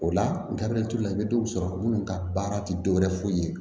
O la gabriel ture la i bɛ dɔw sɔrɔ minnu ka baara tɛ dɔwɛrɛ foyi ye